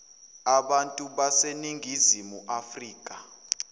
abantu baseningizimu afrika